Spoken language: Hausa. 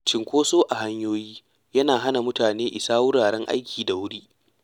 Cunkoso a hanyoyi yana hana mutane isa wuraren aiki da wuri.